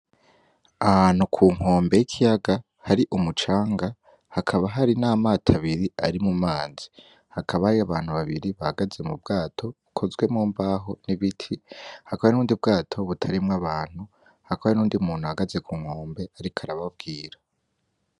Ahantu kunkombe y'ikiyaga har'umucanga hakaba hari namato abiri ari mumazi, hakaba harih abantu babiri bahagaze mubwato bukozwe mu mbaho n'ibiti hakaba n'ubundi bwato butarimw'abantu hakaba n'uwundi muntu ahagaze ku nkombe ariko arababwira.